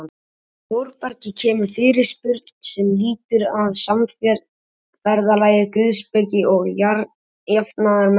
Frá Þórbergi kemur fyrirspurn sem lýtur að samferðalagi guðspeki og jafnaðarmennsku.